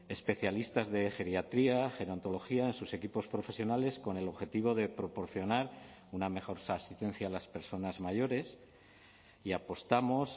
especialistas de geriatría gerontología en sus equipos profesionales con el objetivo de proporcionar una mejor asistencia a las personas mayores y apostamos